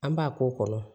An b'a k'o kɔnɔ